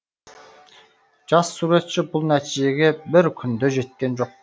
жас суретші бұл нәтижеге бір күнде жеткен жоқ